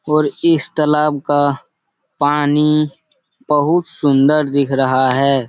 और इस तालाब का पानी बहुत सुन्दर दिख रहा है |